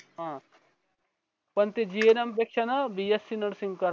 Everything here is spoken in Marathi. हां पण ते gum पेक्षा ना bsc nursing करायला